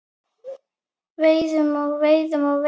Veiðum og veiðum og veiðum.